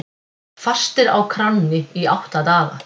Fastir á kránni í átta daga